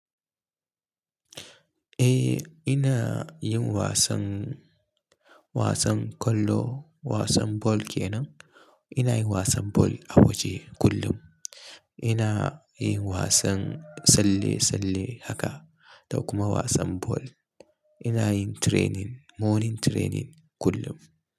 Eh ina yin wasan, wasan ƙwallo, wasan ball kenan. Ina yin wasan ball a waje kullum. Ina yin wasan tsalle-tsalle haka, da kuma wasan ball. Ina yin training, morning training kullum.